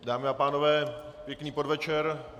Dámy a pánové, pěkný podvečer.